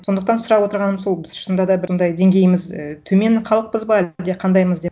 сондықтан сұрап отырғаным сол біз шынында да бұндай деңгейіміз і төмен халықпыз ба әлде қандаймыз деп